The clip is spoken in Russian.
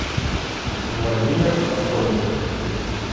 владимир афонькин